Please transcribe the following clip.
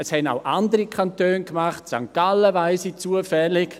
» Das haben auch andere Kantone gemacht, von St. Gallen weiss ich es zufällig.